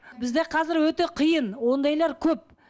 бізде қазір өте қиын ондайлар көп